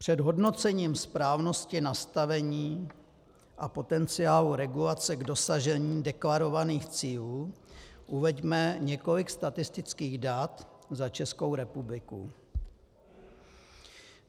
Před hodnocením správnosti nastavení a potenciálu regulace k dosažení deklarovaných cílů uveďme několik statistických dat za Českou republiku.